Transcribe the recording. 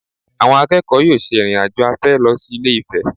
Àwọn akẹ́kọ̀ọ́ yóò ṣe ìrìn-àjò afẹ́ lọ sí Ilé-Ifẹ̀